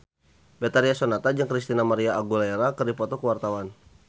Betharia Sonata jeung Christina María Aguilera keur dipoto ku wartawan